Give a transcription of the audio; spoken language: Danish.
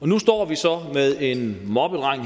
nu står vi så her med en moppedreng